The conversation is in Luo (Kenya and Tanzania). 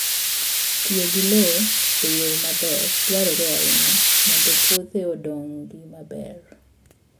Tiyo gi lowo e yo maber dwarore ahinya mondo puothe odongi maber.